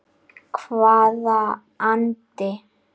Hvaða andi?